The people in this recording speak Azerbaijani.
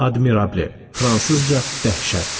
Admirabli, fransızca dəhşət.